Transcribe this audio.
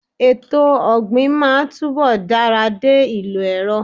Etò ọ̀gbìnmáa túnbọ̀ dara dé ìlò ẹ̀rọ.